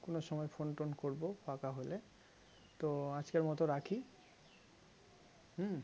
কোনো সময় phone tone করবো ফাঁকা হলে তো আজকের মতো রাখি হম